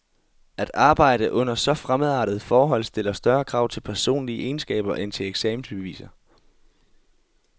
At arbejde under så fremmedartede forhold stiller større krav til personlige egenskaber end til eksamensbeviser.